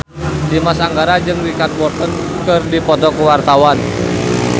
Dimas Anggara jeung Richard Burton keur dipoto ku wartawan